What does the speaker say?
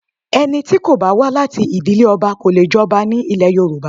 Ẹni tí kò bá wá láti ìdílé ọba kò lè jọba ní ilẹ̀ Yorùbá